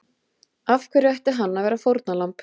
Af hverju ætti hann að vera fórnarlamb?